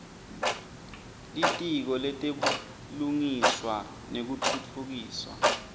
litiko letebulungiswa nekutfutfukiswa